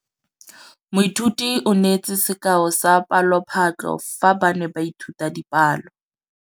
Moithuti o neetse sekaô sa palophatlo fa ba ne ba ithuta dipalo.